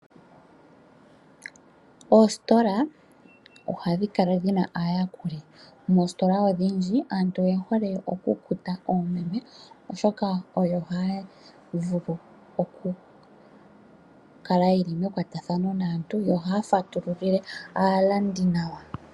Oositola ohadhi kala dhina aayakuli, moositola odhindji aantu oye hole oku kuta oomeme oshoka oyo ha ya vulu oku kala yeli mekwatathano naantu yo oha ya fatululile aalandi nawa.